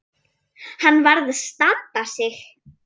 Hann varð að standa sig.